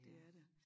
Det er det